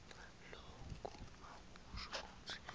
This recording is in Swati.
loku akusho kutsi